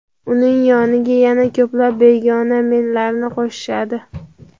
uning yoniga yana ko‘plab begona "men"larni qo‘shishadi.